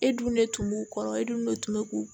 E dun ne tun b'u kɔrɔ e dun de tun bɛ k'u